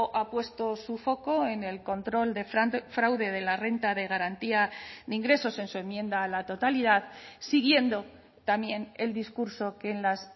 ha puesto su foco en el control de fraude de la renta de garantía de ingresos en su enmienda a la totalidad siguiendo también el discurso que en las